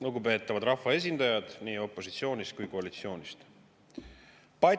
Lugupeetavad rahvaesindajad nii opositsioonist kui ka koalitsioonist!